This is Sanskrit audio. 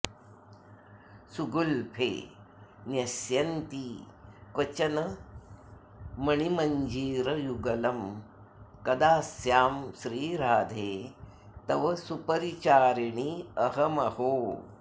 सुगुल्फे न्यस्यन्ती क्वचन मणिमञ्जीरयुगलं कदा स्यां श्रीराधे तव सुपरिचारिण्यहमहो